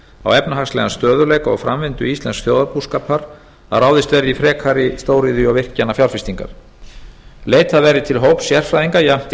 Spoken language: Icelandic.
á efnahagslegan stöðugleika og framvindu íslensks þjóðarbúskapar að ráðist verði í frekari stóriðju og virkjanafjárfestingar leitað verði til hóps sérfræðinga jafnt